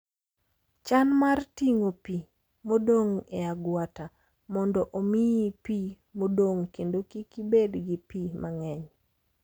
Chan mar ting'o pi modong' e agwata mondo omiyi pi modong' kendo kik ibed gi pii mang'eny.